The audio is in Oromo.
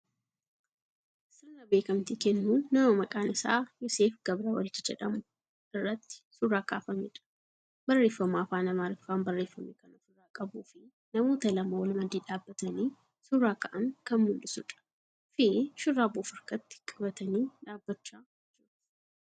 Sirna beekkamtii kennuu nama maqaan isaa Yooseef Gabrawald jedhamu irratti suuraa kaafameedha. Barreeffama afaan Amaariffaan barreeffame kan ofirraa qabuu fibnamoota lama wal maddii dhaabbatanii suuraa ka'an kan mul'isuudha fii shurraaba of harkatti qabatanii dhaabbachaa jiru.